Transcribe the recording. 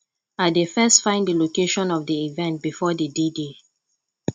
i dey first find di location of di event before d dday